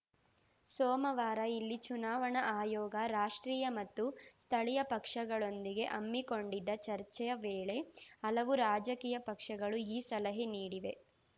ಸೋಮವಾರ ಇಲ್ಲಿ ಚುನಾವಣಾ ಆಯೋಗ ರಾಷ್ಟ್ರೀಯ ಮತ್ತು ಸ್ಥಳೀಯ ಪಕ್ಷಗಳೊಂದಿಗೆ ಹಮ್ಮಿಕೊಂಡಿದ್ದ ಚರ್ಚೆ ವೇಳೆ ಹಲವು ರಾಜಕೀಯ ಪಕ್ಷಗಳು ಈ ಸಲಹೆ ನೀಡಿವೆ